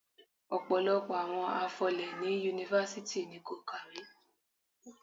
Ọ̀pọ̀lọpọ̀ àwọn afọlé ní Yunifásítì ni kò kàwé.